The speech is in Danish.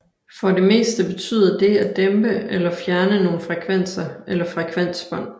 For det meste betyder det at dæmpe eller fjerne nogle frekvenser eller frekvensbånd